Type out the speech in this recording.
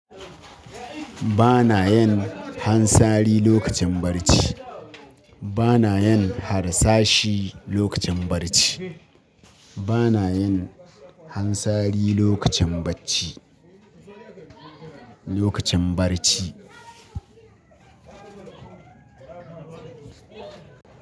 Ba na yin hansari lokacin barci. Ba na yin harsashi lokacin barci. Ba na yin hansari lokacin bacci, lokacin barci.